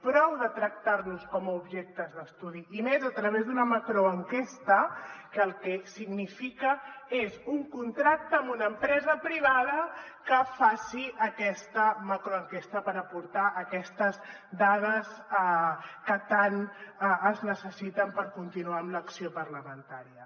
prou de tractar nos com a objectes d’estudi i més a través d’una macroenquesta que el que significa és un contracte amb una empresa privada que faci aquesta macroenquesta per aportar aquestes dades que tant es necessiten per continuar amb l’acció parlamentària